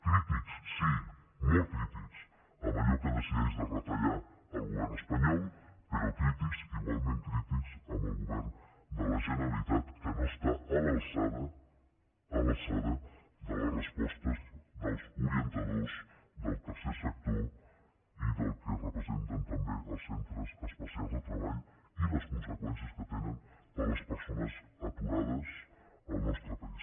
crítics sí molt crítics en allò que decideix de retallar el govern espanyol però crítics igualment crítics amb el govern de la generalitat que no està a l’alçada de les respostes dels orientadors del tercer sector i del que representen també els centres especials de treball i les conseqüències que tenen per a les persones aturades al nostre país